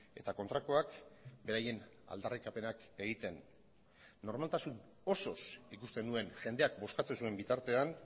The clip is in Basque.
eta kontrakoak beraien aldarrikapenak egiten normaltasun osoz ikusten nuen jendeak bozkatzen zuen bitartean